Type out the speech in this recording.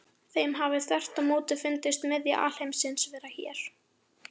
Þeim hafi þvert á móti fundist miðja alheimsins vera hér.